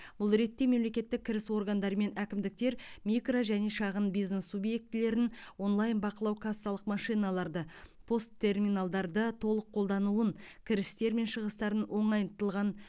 бұл ретте мемлекеттік кіріс органдары мен әкімдіктер микро және шағын бизнес субъектілерін онлайн бақылау кассалық машиналарды пост терминалдарды толық қолдануын кірістер мен шығыстарын оңайтылған